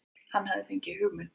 Hann hafði fengið hugmynd.